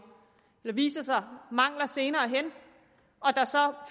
eller der viser sig mangler senere hen og